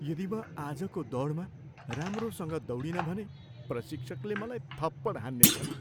यदि म आजको दौडमा राम्रोसँग दौडिन भने प्रशिक्षकले मलाई थप्पड हान्नेछन्।